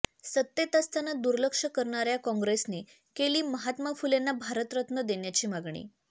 सत्तेत असताना दुर्लक्ष करणाऱ्या कॉंग्रेसने केली महात्मा फुलेंना भारतरत्न देण्याची मागणी